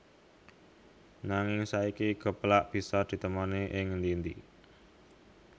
Nanging saiki geplak bisa ditemoni ing endi endi